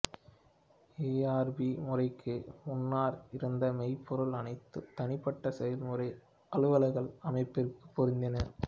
ERP முறைக்கு முன்னர் இருந்த மென்பொருள் அனைத்தும் தனிப்பட்ட செயல்முறை அலுவல்கள் அமைப்பிற்கு பொருந்தின